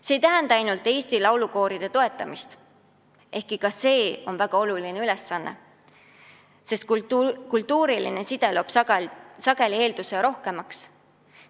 See ei tähenda ainult eesti laulukooride toetamist, ehkki ka see on väga oluline, sest kultuuriline side loob sageli eelduse rohkemaks.